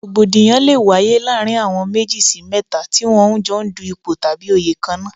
Rògbòdìyàn lé wáyé láàárín àwọn méjì sí mẹ́ta tí wọ́n ń jọ dù ipò tàbí òyè kan náà.